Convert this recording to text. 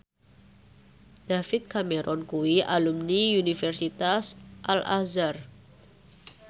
David Cameron kuwi alumni Universitas Al Azhar